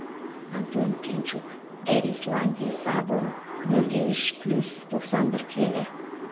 антон пинчук эрисланди савон нөл де үш плюс тоқсан бір келі